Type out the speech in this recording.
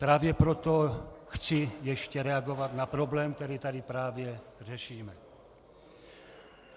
Právě proto chci ještě reagovat na problém, který tady právě řešíme.